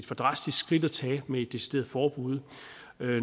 for drastisk skridt at tage med et decideret forbud